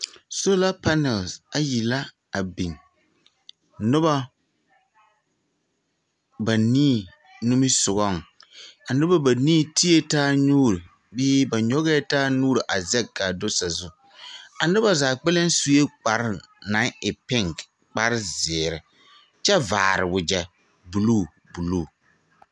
Soola panԑl ayi la a biŋ. Noba banii nimisogͻŋ. A noba banii tee taa nuuri bee ba nyͻgԑԑ taa nuuri a zԑge ka a do sazu. A noba zaa kpԑlem sue kpare naŋ e piŋke kpare zeere kyԑ vaare wagyԑ buluu buluu.